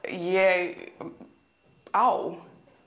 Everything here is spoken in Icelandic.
ég á